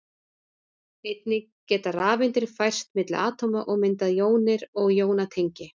Einnig geta rafeindir færst milli atóma og myndað jónir og jónatengi.